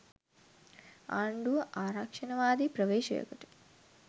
ආණ්ඩුව ආරක්‍ෂණවාදී ප්‍රවේශයකට